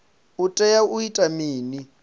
u tea u ita mini